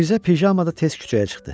Mirzə pijamada tez küçəyə çıxdı.